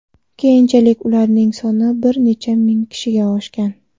Keyinchalik ularning soni bir necha ming kishiga oshgan.